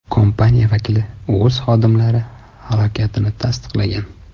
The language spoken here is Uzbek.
Kompaniya vakili o‘z xodimlari halokatini tasdiqlagan.